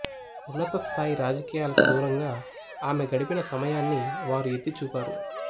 ఉన్నత స్థాయి రాజకీయాలకు దూరంగా ఆమె గడిపిన సమయాన్ని వారు ఎత్తి చూపారు